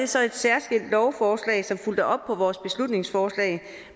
så et særskilt lovforslag som fulgte op på vores beslutningsforslag